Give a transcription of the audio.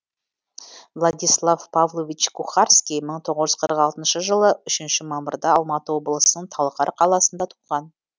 владислав павлович кухарский мың тоғыз жүз қырық алтыншы жылы үшінші мамырда алматы облысының талғар қаласында туған